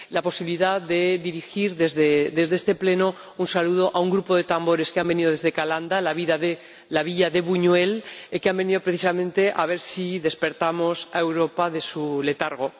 La posibilidad de dirigir desde este Pleno un saludo a un grupo de tambores que han venido desde Calanda —la villa de Buñuel—, que han venido precisamente a ver si despertamos a Europa de su letargo.